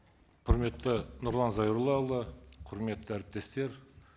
құрметті нұрлан зайроллаұлы құрметті әріптестер